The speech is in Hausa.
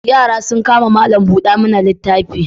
Yara sun kama malam-buda-mana-littafi.